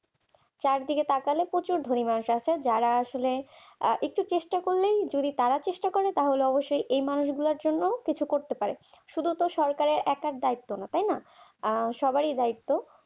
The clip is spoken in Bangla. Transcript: চারদিকে তাকালে প্রচুর ধনাত্ম আছে যারা আসলে একটু চেষ্টা করলেই যদি তারা চেষ্টা করে তাহলে অবশ্যই এই মানুষগুলোর জন্য কিছু করতে পারে শুধু তো সরকার একার দায়িত্ব তো না সবার দায়িত্ব